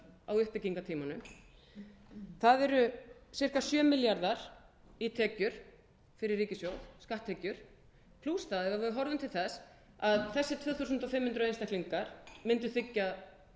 á uppbyggingartímanum það eru ca sjö milljarðar í tekjur fyrir ríkissjóð skatttekjur plús það ef við horfum til þess að þessir tvö þúsund fimm hundruð einstaklingar mundu þiggja